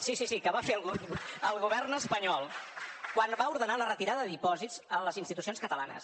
sí sí sí que va fer el govern espanyol quan va ordenar la retirada de dipòsits a les institucions catalanes